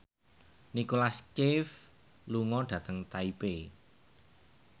Nicholas Cafe lunga dhateng Taipei